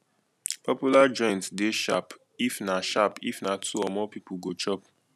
popular joints de sharp if na sharp if na two or more pipo go chop